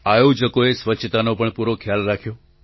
આયોજકોએ સ્વચ્છતાનો પણ પૂરો ખ્યાલ રાખ્યો